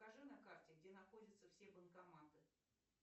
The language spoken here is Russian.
покажи на карте где находятся все банкоматы